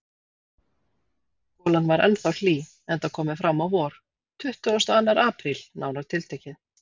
Golan var ennþá hlý, enda komið fram á vor: tuttugasti og annar apríl, nánar tiltekið.